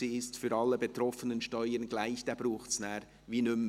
«Sie ist für alle betroffenen Steuern gleich» braucht es dann wie nicht mehr.